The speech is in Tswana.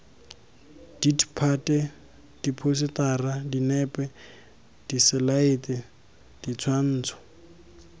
ditphate diphousetara dinepe diselaete ditshwantsho